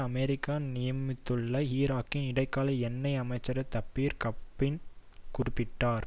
America நியமித்துள்ள ஈராக்கின் இடைக்கால எண்ணெய் அமைச்சர் தபீர் கட்பன் குறிப்பிட்டார்